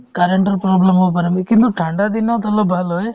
current ৰ problem হ'ব পাৰে কিন্তু ঠাণ্ডা দিনত অলপ ভাল হয়